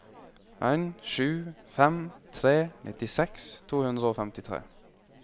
en sju fem tre nittiseks to hundre og femtitre